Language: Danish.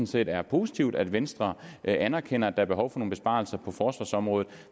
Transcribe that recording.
set er positivt at venstre anerkender at er behov for nogle besparelser på forsvarsområdet